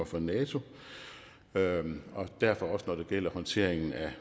for nato og derfor også når det gælder håndteringen af